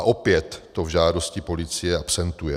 A opět to v žádosti policie akcentuje.